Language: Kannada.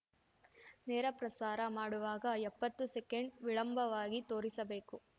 ನೇರ ಪ್ರಸಾರ ಮಾಡುವಾಗ ಎಪ್ಪತ್ತು ಸೆಕೆಂಡ್‌ ವಿಳಂಬವಾಗಿ ತೋರಿಸಬೇಕು